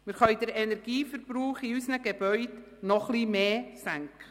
Zudem können wir den Energieverbrauch in unseren Gebäuden noch etwas mehr senken.